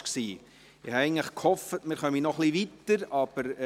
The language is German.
Ich habe eigentlich gehofft, dass wir noch etwas weiterkommen würden.